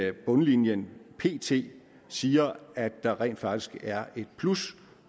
at bundlinjen pt siger at der rent faktisk er et plus